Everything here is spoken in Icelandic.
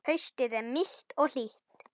Haustið er milt og hlýtt.